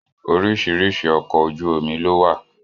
Oríṣiríṣi ọkọ̀ ojú omi lọ wà